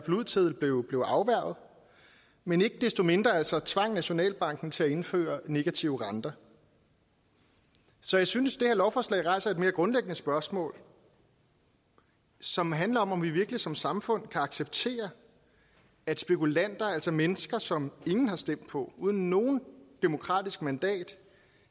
ud til blev blev afværget men ikke desto mindre altså tvang nationalbanken til at indføre negative renter så jeg synes det her lovforslag rejser et mere grundlæggende spørgsmål som handler om om vi virkelig som samfund kan acceptere at spekulanter altså mennesker som ingen har stemt på som uden noget demokratisk mandat